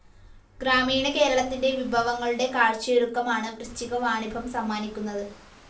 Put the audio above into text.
ഗ്രാമീണ കേരളത്തിന്റെ വിഭവങ്ങളുടെ കാഴ്ചയൊരുക്കമാണ് വൃശ്ചികവാണിഭം സമ്മാനിക്കുന്നത്.